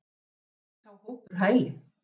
En fengi sá hópur hæli?